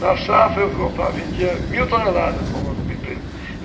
Na safra eu vendia mil toneladas para uma empresa.